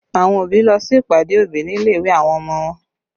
Àwọn òbí lọ sí ìpàdé òbí nílé ìwé àwọn ọmọ wọn